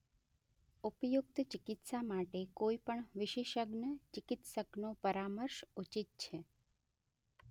ઉપયુક્ત ચિકિત્સા માટે કોઈ પણ વિશેષજ્ઞ ચિકિત્સકનો પરામર્શ ઉચિત.